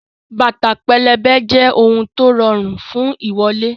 Bàtà pẹlẹbẹ jẹ́ ohun tó rọrùn fún ìwọ́lẹ̀